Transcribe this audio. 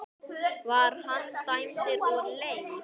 Var hann dæmdur úr leik?